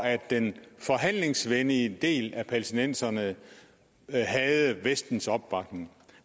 den forhandlingsvenlige del af palæstinenserne havde vestens opbakning